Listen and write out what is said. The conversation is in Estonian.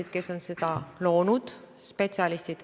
Minu küsimus on, kuidas meil viimase miili probleemi lahendamine läheb.